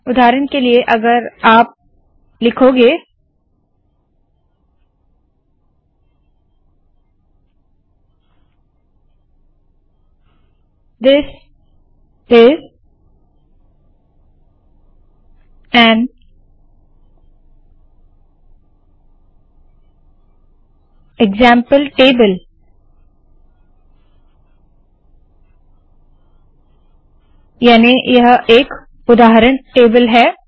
उदाहरण के लिए अगर आप लिखोगे this is an example table याने यह एक उदाहरण टेबल है